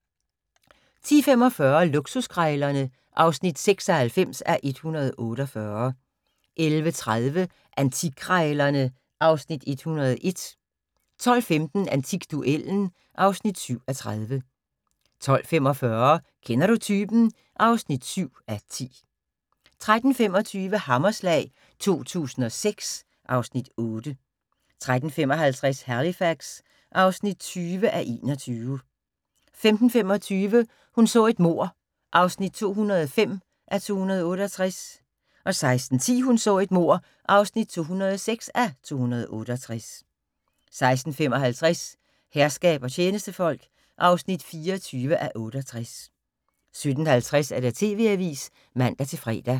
10:45: Luksuskrejlerne (96:148) 11:30: Antikkrejlerne (Afs. 101) 12:15: Antikduellen (7:30) 12:45: Kender du typen? (7:10) 13:25: Hammerslag 2006 (Afs. 8) 13:55: Halifax (20:21) 15:25: Hun så et mord (205:268) 16:10: Hun så et mord (206:268) 16:55: Herskab og tjenestefolk (24:68) 17:50: TV-avisen (man-fre)